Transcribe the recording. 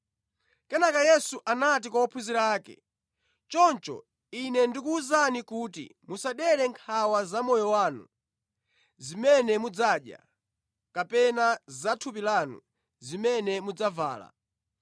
Kenaka Yesu anati kwa ophunzira ake, “Choncho Ine ndikuwuzani kuti musadere nkhawa za moyo wanu, zimene mudzadya; kapena za thupi lanu, zimene mudzavala.